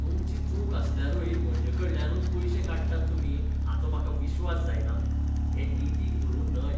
तुमची चूक आसल्यारूय म्हजेकडल्यानूच पयशें काडटात तुमी हाचो म्हाका विश्वास जायना. हें नितीक धरून न्हय.